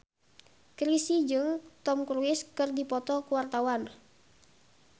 Chrisye jeung Tom Cruise keur dipoto ku wartawan